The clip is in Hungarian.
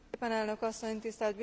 Tisztelt Biztos úr!